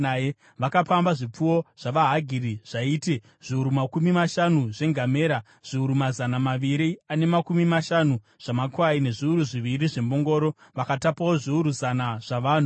Vakapamba zvipfuwo zvavaHagiri zvaiti: zviuru makumi mashanu zvengamera, zviuru mazana maviri ane makumi mashanu zvamakwai nezviuru zviviri zvembongoro. Vakatapawo zviuru zana zvavanhu,